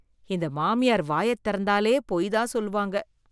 இந்த மாமியார் வாயை திறந்தாலே பொய் தான் சொல்வாங்க.